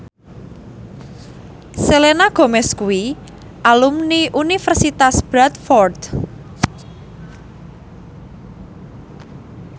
Selena Gomez kuwi alumni Universitas Bradford